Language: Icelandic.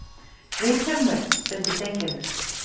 Vilhjálmur! stundi Steingerður.